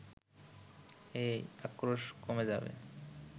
এই আক্রোশ কমে যাবে